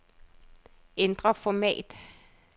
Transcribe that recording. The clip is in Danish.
Ændr format.